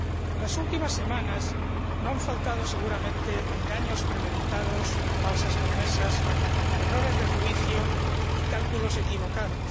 En las últimas semanas no han faltado, seguramente, engaños premeditados, falsas promesas, errores de juicio y cálculos equivocados.